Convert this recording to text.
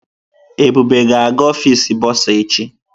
Ebube ga-aga ọfịs bọrzà echi.